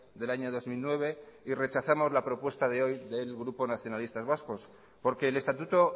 del año dos mil nueve y rechazamos la propuesta de hoy del grupo nacionalistas vascos porque el estatuto